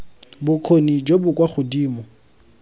bokgoni jo bo kwa godimo